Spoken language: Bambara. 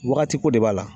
Wagati ko de b'a la